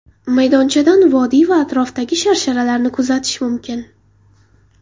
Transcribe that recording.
Maydonchadan vodiy va atrofdagi sharsharalarni kuzatish mumkin.